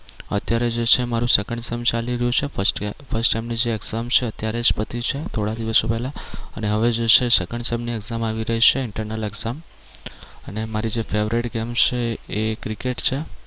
અત્યારે જે છે એ મારુ second sem ચાલી રહ્યું છે first sem first sem ની જે exam છે અત્યારે જ પતી છે થોડા દિવસો પહેલા અને હવે જે છે એ second sem ની exam આવી રહી છે internal exam અને મારી જે favorite game છે એ ક્રિકેટ છે.